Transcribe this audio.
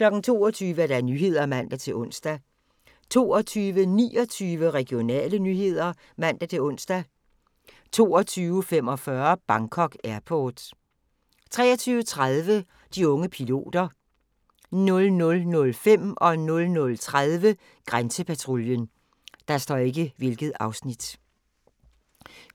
22:00: Nyhederne (man-ons) 22:29: Regionale nyheder (man-ons) 22:45: Bangkok Airport 23:30: De unge piloter 00:05: Grænsepatruljen 00:30: Grænsepatruljen